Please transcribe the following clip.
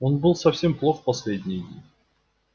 он был совсем плох последние дни